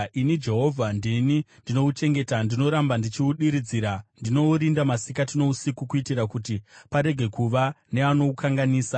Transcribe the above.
Ini Jehovha ndini ndinouchengeta; ndinoramba ndichiudiridzira. Ndinourinda masikati nousiku kuitira kuti parege kuva neanoukanganisa.